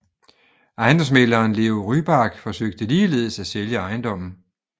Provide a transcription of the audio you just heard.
Ejendomsmægleren Leo Ryback forsøgte ligeledes at sælge ejendommen